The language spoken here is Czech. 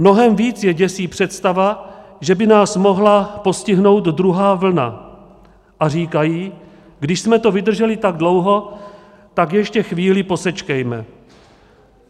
Mnohem víc je děsí představa, že by nás mohla postihnout druhá vlna, a říkají: když jsme to vydrželi tak dlouho, tak ještě chvíli posečkejme.